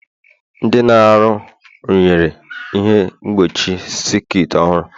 Ndị na-arụ rụnyere ihe mgbochi sekit ọhụrụ.